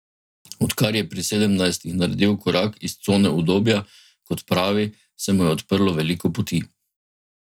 Odkar je pri sedemnajstih naredil korak iz cone udobja, kot pravi, se mu je odprlo veliko poti.